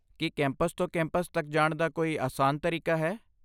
ਕੀ campus ਤੋਂ campus ਤੱਕ ਜਾਣ ਦਾ ਕੋਈ ਆਸਾਨ ਤਰੀਕਾ ਹੈ?